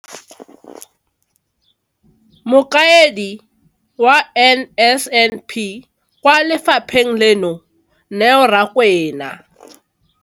Mokaedi wa NSNP kwa lefapheng leno, Neo Rakwena.